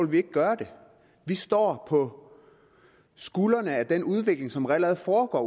vi ikke gøre det vi står på skuldrene af den udvikling som allerede foregår